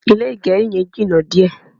Ilé agẹrí yẹn jìnà díẹ̀